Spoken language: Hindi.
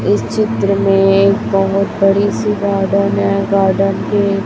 इस चित्र में एक बहुत बड़ी सी गार्डन है गार्डन के--